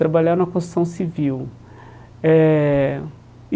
Trabalhar na construção civil eh.